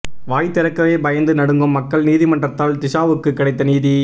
வாய் திறக்கவே பயந்து நடுங்கும் மக்கள் நீதிமன்றத்தால் திஷாவுக்கு கிடைத்த நீதி